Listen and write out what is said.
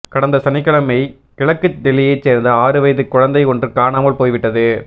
கடந்த சனிக்கிழமை கிழக்கு டெல்லியைச் சேர்ந்த ஆறு வயதுக் குழந்தை ஒன்று காணாமல் போய்விட்டது